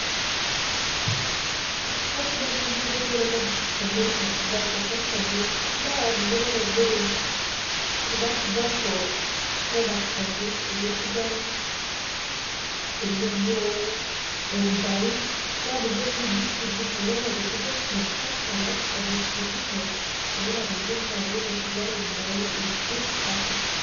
Kaidim nai nanu atejo ore enampuni e British company naa ninye ainaitobiru kuna tobacco products pookin tanaa osigara tanaa orkumbau naninche distributers na ninche biggest manufacturers odistributers orkumbau te east Africa.